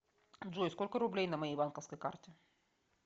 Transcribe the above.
джой сколько рублей на моей банковской карте